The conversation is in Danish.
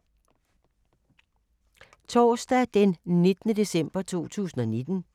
Torsdag d. 19. december 2019